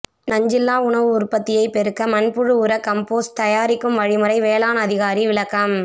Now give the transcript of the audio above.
நஞ்சில்லா உணவு உற்பத்தியை பெருக்க மண்புழு உர கம்போஸ்ட் தயாரிக்கும் வழிமுறை வேளாண் அதிகாரி விளக்கம்